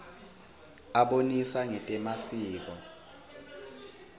abonisa ngetemasiko